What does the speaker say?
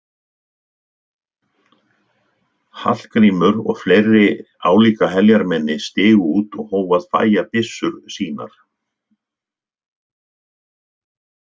Hallgrímur og fleiri álíka heljarmenni stigu út og hófu að fægja byssur sínar.